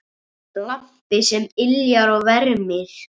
Lampi sem yljar og vermir.